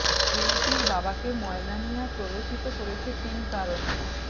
বিউটির বাবাকে ময়না মিয়া প্ররোচিত করতে পেরেছে তিন কারণে